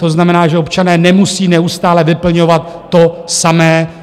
To znamená, že občané nemusí neustále vyplňovat to samé.